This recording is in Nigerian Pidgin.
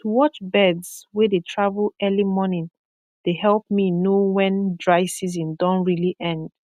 to watch birds wey dey travel early morning dey help me know when dry season don really end